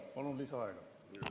Palun lisaaega!